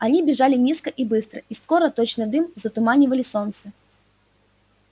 они бежали низко и быстро и скоро точно дым затуманивали солнце